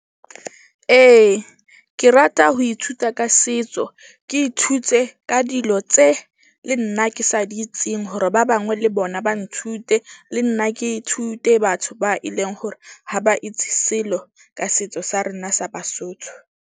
Ee, ke rata ho ithuta ka setso. Ke ithute ka dilo tse le nna ke sa di itseng hore ba bangwe le bona ba nthute. Le nna ke ithute batho ba e leng hore ha ba itse selo ka setso sa rona sa Basotho.